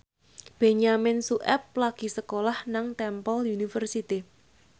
Benyamin Sueb lagi sekolah nang Temple University